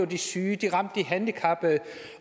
de syge det ramte de handicappede